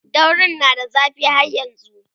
daurin na da zafi har yanzun